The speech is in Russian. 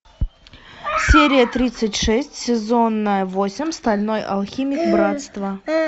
серия тридцать шесть сезон восемь стальной алхимик братство